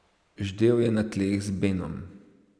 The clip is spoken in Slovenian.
Ždel je na tleh z Benom.